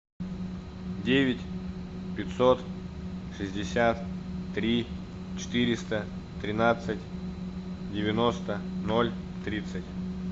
девять пятьсот шестьдесят три четыреста тринадцать девяносто ноль тридцать